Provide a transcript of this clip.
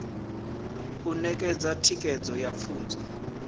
u ṋetshedza thikedzo ya pfunzo